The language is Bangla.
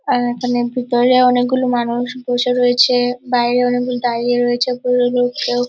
আর এখানে ভিতরে অনেকগুলো মানুষ বসে রয়েছে। বাইরে অনেকগুলো দাঁড়িয়ে রয়েছে। লোক কেউ।